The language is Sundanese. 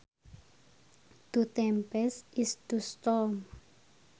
To tempest is to storm